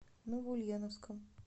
новоульяновском